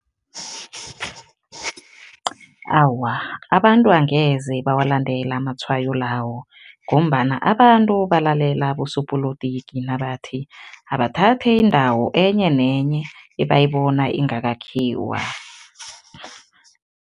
Awa, abantu angeze bawalandela amatshwayo lawo ngombana abantu balalela abosopolotiki nabathi, abathathe indawo enye nenye ebayibona ingakakhiwa.